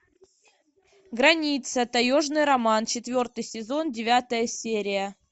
граница таежный роман четвертый сезон девятая серия